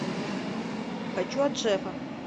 хочу от шефа